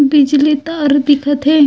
बिजली तार ह दिखत हे।